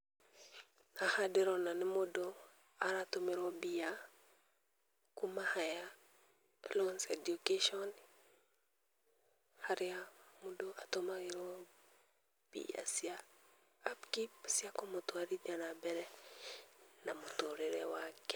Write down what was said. Haha ndĩrona nĩ mũndũ aratũmĩrwo mbia kuma higher loans education harĩa mũndũ atũmagĩrwo mbia cia upkeep cia kũmũtwarithia na mbere na mũtũrĩre wake.